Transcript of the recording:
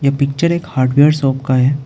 Picture एक hardware shop का है।